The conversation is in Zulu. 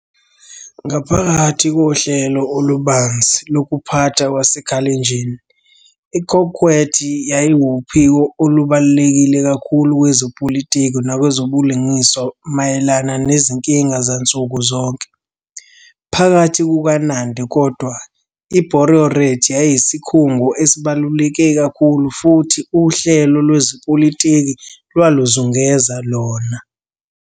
Ngaphakathi kohlelo olubanzi lokuphatha lwaseKalenjin, iKokwet yayiwuphiko olubaluleke kakhulu kwezepolitiki nakwezobulungiswa mayelana nezinkinga zansuku zonke. Phakathi kukaNandi kodwa, "iBororiet" yayiyisikhungo esibaluleke kakhulu futhi uhlelo lwezepolitiki lwaluzungeza lona.